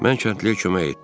Mən kəndliyə kömək etdim.